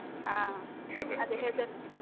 ಹಾ ಅದೇ ಹೆದರ್ಕೆ.